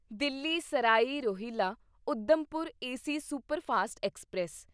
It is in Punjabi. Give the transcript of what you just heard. Delhi Sarai Rohilla Udhampur AC superfast express